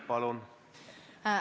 Palun!